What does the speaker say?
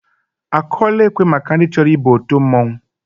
Akụọla ekwe maka ndị chọrọ ịba òtù mmọnwụ?